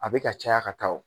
A bɛ ka caya ka taa o.